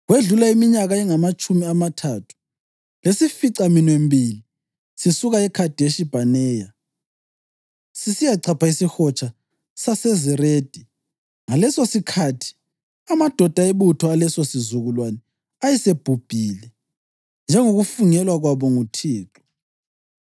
Kwedlula iminyaka engamatshumi amathathu leyisificaminwembili sisuke eKhadeshi Bhaneya sisiyachapha isiHotsha saseZeredi. Ngalesosikhathi, amadoda ebutho alesosizukulwane ayesebhubhile, njengokufungelwa kwabo nguThixo.